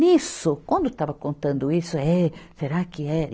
Nisso, quando estava contando isso, é... Será que era?